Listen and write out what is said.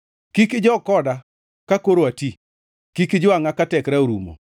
Kik ijog koda ka koro ati; kik ijwangʼa ka tekra orumo.